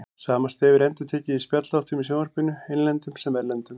Sama stef er endurtekið í spjallþáttum í sjónvarpinu, innlendum sem erlendum.